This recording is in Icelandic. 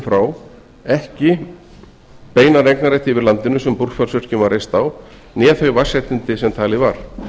frá ekki beinan eignarrétt yfir landinu sem búrfellsvirkjun var reist á né þau vatnsréttindi sem talið var